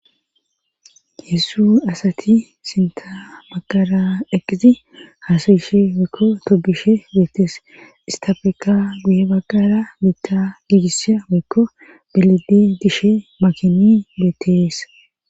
Yessu asati sinta baqara eqqizi haasayishe weykkko tobishe beettes istapeka guye baqara biitta giigisa weykko belidi dishe makini beettees